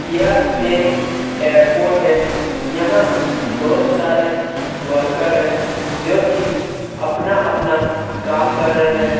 यह एक एयरपोर्ट है यहाँ बहुत सारे वर्कर है जो कि अपना-अपना काम कर रहै हैं।